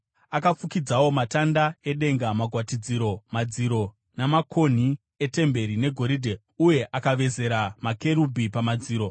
Akafukidzawo matanda edenga magwatidziro, madziro, namakonhi etemberi negoridhe, uye akavezera makerubhi pamadziro.